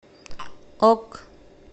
ок